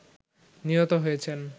নিহত হয়েছেন